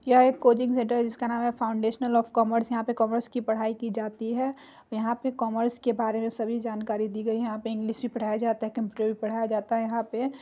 यह एक coaching centre है जिसका नाम है फाऊंडेशनल ऑफ कॉमर्स यहां पर कॉमर्स की पढ़ाई की जाती है यहाँ पर कॉमर्स के बारे में सभी जानकारी दी गयी है यहां पे इंग्लिश भी पढ़ाया जाता है कंप्यूटर भी पढ़ाया जाता है यहाँ पे ।